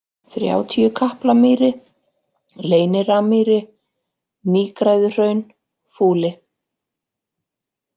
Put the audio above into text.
Þrjátíukaplamýri, Leyniramýri, Nýgræðuhraun, Fúli